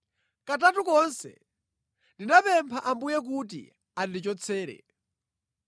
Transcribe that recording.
Katatu konse ndinapempha Ambuye kuti andichotsere.